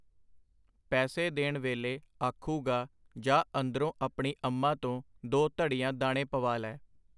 ਪੈਸੇ ਦੇਣ ਵੇਲੇ ਆਖੂਗਾ ਜਾਹ ਅੰਦਰੋਂ ਆਪਣੀ ਅੰਮਾ ਤੋਂ ਦੋ ਧੜੀਆਂ ਦਾਣੇ ਪਵਾ ਲੈ.